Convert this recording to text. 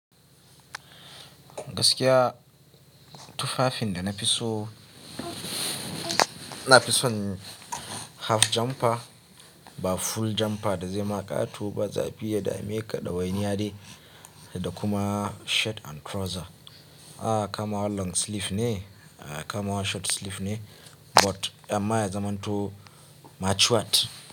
Gaskiya tufafin da na fi so, na fi son half jumper ba full jumper da zaima ƙato ba, zafi ya dameka ɗawainiya dai, da kuma shirt and trouser. A kama wa long sleeve ne, a kama wa short sleeve ne, but amma ya zama hantu matured.